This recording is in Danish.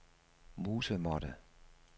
musemåtte